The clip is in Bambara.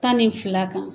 Tan ni fila kan